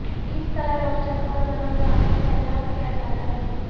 کس طرح روشن اور گرم گانا پیدا کیا جاتا ہے